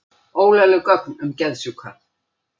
Ólögleg gögn um geðsjúka